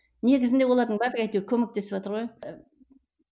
негізінде олардың барлығы әйтеу көмектесіватыр ғой